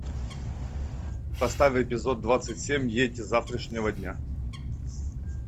поставь эпизод двадцать семь ейти завтрашнего дня